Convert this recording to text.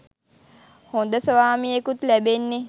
හොඳ ස්වාමියෙකුත් ලැබෙන්නෙ